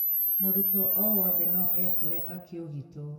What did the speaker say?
mũrutwo owothe no ekorie akĩũgitwo.